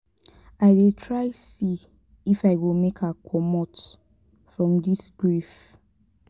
i dey try see if i go make her comot from dis grief.